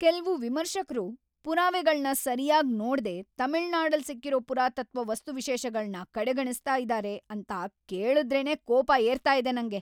ಕೆಲ್ವು ವಿಮರ್ಶಕ್ರು ಪುರಾವೆಗಳ್ನ ಸರ್ಯಾಗ್ ನೋಡ್ದೆ ತಮಿಳ್ನಾಡಲ್‌ ಸಿಕ್ಕಿರೋ ಪುರಾತತ್ವ ವಸ್ತುವಿಶೇಷಗಳ್ನ ಕಡೆಗಣಿಸ್ತಾ ಇದಾರೆ ಅಂತ ಕೇಳುದ್ರೇನೇ ಕೋಪ ಏರ್ತಾ ಇದೆ ನಂಗೆ.